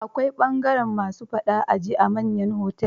Akwai bangaren "ma su faɗa a ji" a manyan otel-otel.